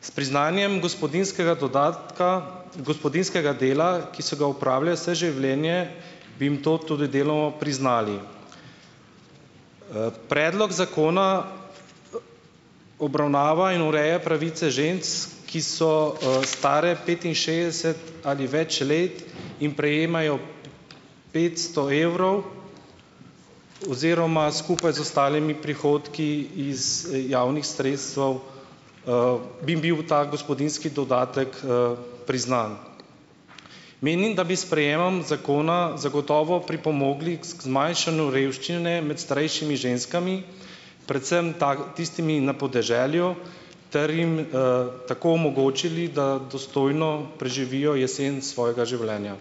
S priznanjem gospodinjskega dodatka, gospodinjskega dela, ki so ga opravile vse življenje, bi jim to tudi deloma priznali. predlog zakona obravnava in ureja pravice žensk, ki so, stare petinšestdeset ali več let, in prejemajo petsto evrov oziroma skupaj z ostalimi prihodki iz javnih sredstev, bi jim bil ta gospodinjski dodatek, priznan. Menim, da bi s sprejemom zakona zagotovo pripomogli k zmanjšanju revščine med starejšimi ženskami, predvsem tako, tistimi na podeželju, ter jim, tako omogočili, da dostojno preživijo jesen svojega življenja.